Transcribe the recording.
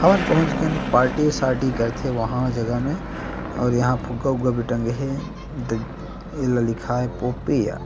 अउ पहुच गेन पार्टी सारटी करथे वहाँ जगह मे और फुग्गा उगगा भी टंगे हे देख एला लिखाए हे पोपएआ--